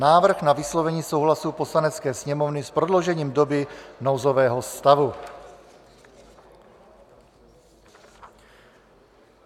Návrh na vyslovení souhlasu Poslanecké sněmovny s prodloužením doby nouzového stavu